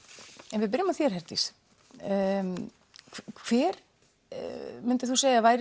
ef við byrjum á þér Herdís hver myndirðu segja að væri